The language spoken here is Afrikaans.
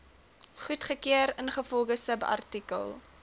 goedgekeur ingevolge subartikel